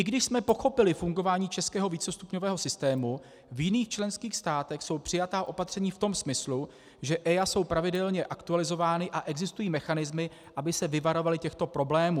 I když jsme pochopili fungování českého vícestupňového systému, v jiných členských státech jsou přijatá opatření v tom smyslu, že EIA jsou pravidelně aktualizovány, a existují mechanismy, aby se vyvarovali těchto problémů.